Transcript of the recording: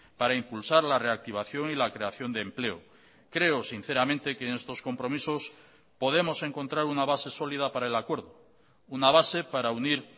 para impulsar la reactivación y la creación de empleo creo sinceramente que en estos compromisos podemos encontrar una base sólida para el acuerdo una base para unir